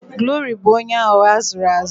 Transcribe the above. Glory bu onye aghugho azuru azu